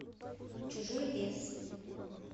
чужой лес